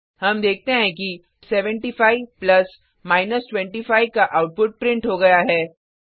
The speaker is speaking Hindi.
हम देखते हैं कि 75 प्लस 25 का आउटपुट प्रिंट हो गया है